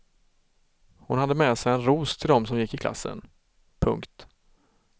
Hon hade med sig en ros till dem som gick i klassen. punkt